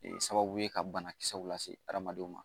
Sababu ye ka banakisɛw lase hadamadenw ma